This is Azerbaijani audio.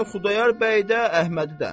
Yəni Xudayar bəy də, Əhmədi də.